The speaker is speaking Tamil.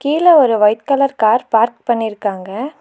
கீழ ஒரு ஒய்ட் கலர் கார் பார்க் பண்ணிருக்காங்க.